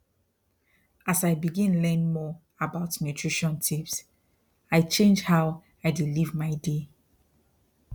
as i begin learn more about nutrition tips i change how i dey live my day